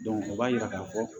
o b'a yira k'a fɔ